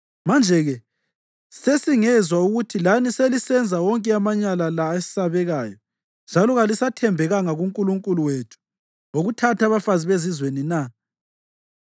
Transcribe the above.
Manje-ke sesingezwa ukuthi lani selisenza wonke amanyala la esabekayo njalo kalisathembekanga kuNkulunkulu wethu ngokuthatha abafazi bezizwe na?”